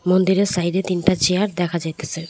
মন্দিরের সাইডে তিনটা চেয়ার দেখা যাইতাসে।